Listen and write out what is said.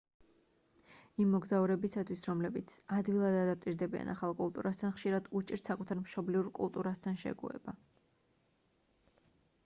იმ მოგზაურებისთვის რომლებიც ადვილად ადაპტირდებიან ახალ კულტურასთან ხშირად უჭირთ საკუთარ მშობლიურ კულტურასთან შეგუება